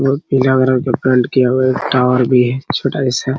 बहुत पीला कलर का पेंट किया हुआ टावर भी हैं छोटा जैसा --